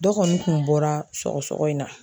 Dɔ kɔni kun bɔra sɔgɔ sɔgɔ in na.